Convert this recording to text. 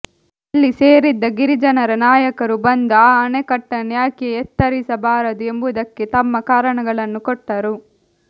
ಅಲ್ಲಿ ಸೇರಿದ್ದ ಗಿರಿಜನರ ನಾಯಕರು ಬಂದು ಆ ಅಣೆಕಟ್ಟನ್ನು ಯಾಕೆ ಎತ್ತರಿಸಬಾರದು ಎಂಬುದಕ್ಕೆ ತಮ್ಮ ಕಾರಣಗಳನ್ನು ಕೊಟ್ಟರು